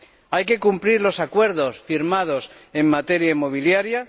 Hay que cumplir los acuerdos firmados en materia inmobiliaria.